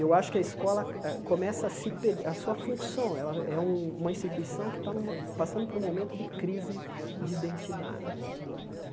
Eu acho que a escola, a começa a se per a sua função, é é uma instituição que está numa passando por um momento de crise de identidade né.